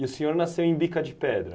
E o senhor nasceu em Bica de Pedra?